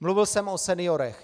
Mluvil jsem o seniorech.